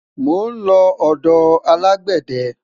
mo nlo odò alágbède